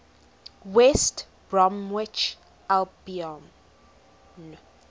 west bromwich albion